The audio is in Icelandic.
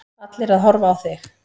Allir að horfa á þig.